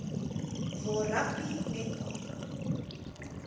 waar rugby netbal